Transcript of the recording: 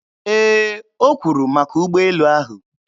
Ee, o kwuru maka ụgbọelu ahụ.